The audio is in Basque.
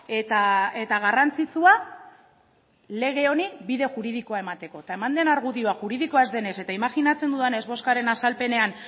eta garrantzitsua lege honi bide juridikoa emateko eta eman den argudioa juridikoa ez denez eta imajinatzen dudanez bozkaren azalpenean